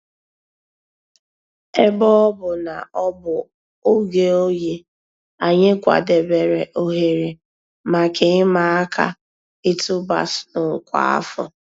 Èbè ọ̀ bụ̀ nà ọ̀ bụ̀ ògè òyì, ànyị̀ kwàdèbèrè òhèrè mǎká ị̀mà àkà ị̀tụ̀bà snow kwa áfọ̀.